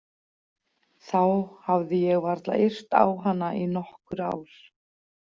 Þá hafði ég varla yrt á hana í nokkur ár.